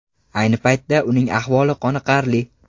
Ayni paytda uning ahvoli qoniqarli.